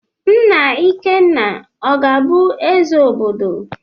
Nna ikenna ọ ga abu eze obodo?